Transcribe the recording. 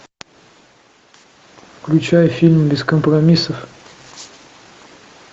включай фильм без компромиссов